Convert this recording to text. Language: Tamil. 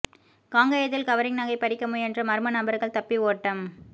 காங்கயத்தில் கவரிங் நகை பறிக்க முயன்ற மா்ம நபா்கள் தப்பி ஓட்டம்